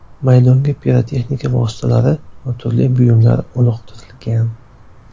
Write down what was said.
Maydonga pirotexnika vositalari va turli buyumlar uloqtirilgan.